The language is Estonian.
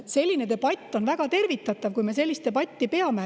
See on väga tervitatav, kui me sellist debatti peame.